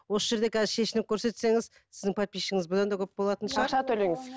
осы жерде қазір шешініп көрсетсеңіз сіздің подписчигіңіз бұдан да көп болатын шығар ақша төлеңіз